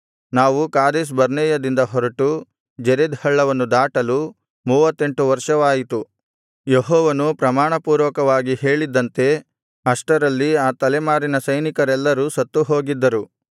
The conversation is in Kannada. ನಾವು ಕಾದೇಶ್‌ಬರ್ನೇಯದಿಂದ ಹೊರಟು ಜೆರೆದ್ ಹಳ್ಳವನ್ನು ದಾಟಲು ಮೂವತ್ತೆಂಟು ವರ್ಷವಾಯಿತು ಯೆಹೋವನು ಪ್ರಮಾಣಪೂರ್ವಕವಾಗಿ ಹೇಳಿದ್ದಂತೆ ಅಷ್ಟರಲ್ಲಿ ಆ ತಲೆಮಾರಿನ ಸೈನಿಕರೆಲ್ಲರೂ ಸತ್ತುಹೋಗಿದ್ದರು